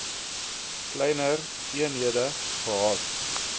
kleiner eenhede gehad